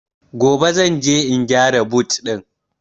Gobe zan je in gyara but ɗin